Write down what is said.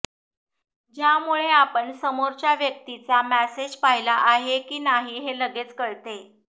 ज्यामुळे आपण समोरच्या व्यक्तीचा मेसेज पाहिला आहे की नाही हे लगेच कळते